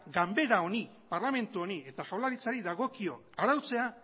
ganbara honi parlamentu honi eta jaurlaritzari dagokio arautzea